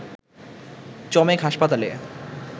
চমেক হাসপাতালে